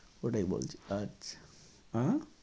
ওটাই বলছি আচ্ছা আহ